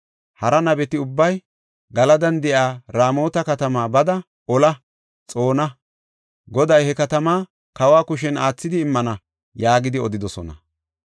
Hara nabeti ubbay, “Galadan de7iya Raamota katamaa bada ola; xoona. Goday he katamaa, kawa kushen aathidi immana” yaagidi odidosona.